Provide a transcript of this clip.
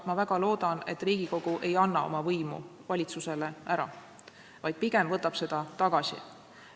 Ma väga loodan, et Riigikogu ei anna oma võimu valitsusele ära, vaid pigem võtab seda tagasi.